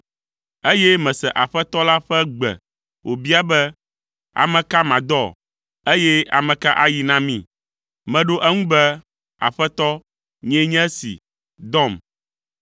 Eye mese Aƒetɔ la ƒe gbe wòbia be, “Ame ka madɔ, eye ame ka ayi na mí?” Meɖo eŋu be, “Aƒetɔ, nyee nye esi, dɔm!”